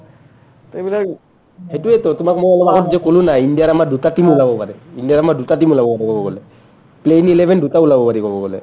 সেইটোয়েটো তোমাক মই অলপ আগতে ক'লো না ইণ্ডিয়াৰ আমাৰ দুটা team ওলাব পাৰে ইণ্ডিয়াৰ আমাৰ দুটা team ওলাব পাৰে ক'ব গ'লে playing eleven দুটা ওলাব পাৰি ক'ব গ'লে